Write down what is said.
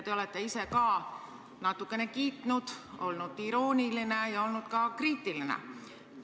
Te olete ise ka natukene kiitnud, olnud irooniline ja olnud ka kriitiline.